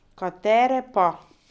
Katere pa?